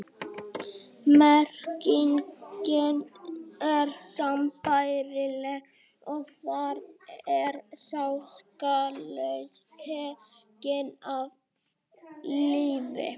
Merkingin er sambærileg og þar er sá saklausi tekinn af lífi.